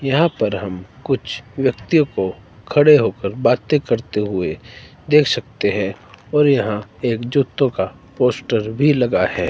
यहां पर हम कुछ व्यक्तियों को खड़े होकर बातें करते हुए देख सकते हैं और यहां एक जूतो का पोस्टर भी लगा है।